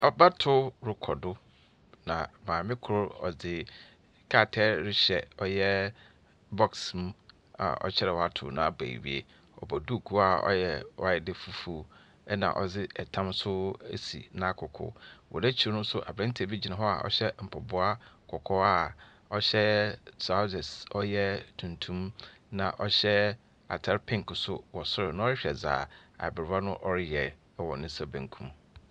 Abatoo rekɔ do na maame ko ɔde krataa rehyɛ ɔyɛɛ bɔks mu a ɔkyerɛ dɛɛ wato naba ewie. Ɔbɔ duku a wayɛ dɛɛ fufuo ɛna ɔde ɛtam so asi naakoko. Ɔnakyire nso aberanteɛ bi gyina hɔ a ɔhyɛ mpaboa kɔkɔɔ a ɔhyɛɛ trawsɛs ɔyɛɛ tuntum naa ɔhyɛ ataare pink nso wɔ soro na ɔrehwɛ dea abrewa no ɔreyɛ ɛwɔ ne nsa benkum.